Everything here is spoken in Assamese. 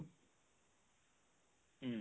উম